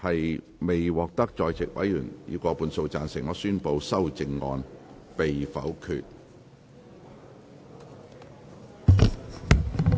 由於議題未獲得在席委員以過半數贊成，他於是宣布修正案被否決。